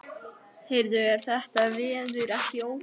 Heyrðu, er þetta veður ekki ótrúlegt?